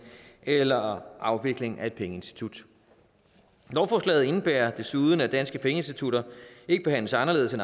eller afvikling af et pengeinstitut lovforslaget indebærer desuden at danske pengeinstitutter ikke behandles anderledes